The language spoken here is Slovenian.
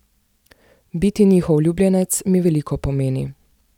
Biti njihov ljubljenec mi veliko pomeni.